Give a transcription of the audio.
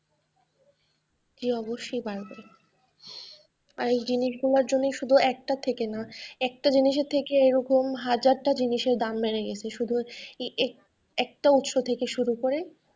জি অবশ্যই বাড়বে আর এই জিনিসগুলোর জন্য শুধু একটা থেকে না, একটা জিনিসের থেকে এরকম হাজারটা জিনিসের দাম বেড়ে গেছে শুধু একটা উৎস থেকে শুরু করে।